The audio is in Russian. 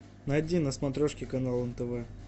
найди на смотрешке канал нтв